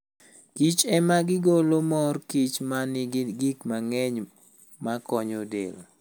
Kich ema gigolo mor kich ma nigi gik mang'eny makonyo del.